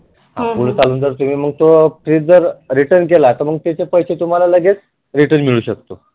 आणि पुढे चालून जर तुम्ही मग जर fridge जर return केला तर मग त्याचे पैसे तुम्हाला लगेच return मिळु शकतील